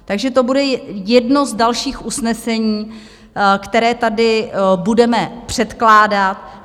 Takže to bude jedno z dalších usnesení, které tady budeme předkládat.